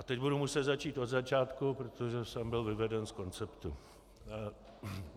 A teď budu muset začít od začátku, protože jsem byl vyveden z konceptu...